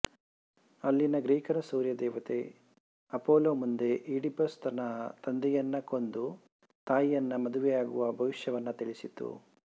ಅಲ್ಲಿನ ಗ್ರೀಕರ ಸೂರ್ಯದೇವತೆ ಅಪೊಲೊ ಮುಂದೆ ಈಡಿಪಸ್ ತನ್ನ ತಂದೆಯನ್ನು ಕೊಂದು ತಾಯಿಯನ್ನು ಮದುವೆಯಾಗುವ ಭವಿಷ್ಯವನ್ನು ತಿಳಿಸಿತು